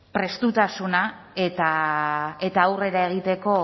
prestutasuna eta aurrera egiteko